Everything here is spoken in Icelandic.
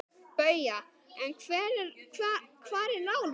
BAUJA: En hvar er Lárus?